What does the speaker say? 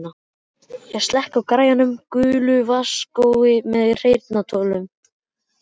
Ég slekk á græjunum, gulu vasadiskói með heyrnartólum.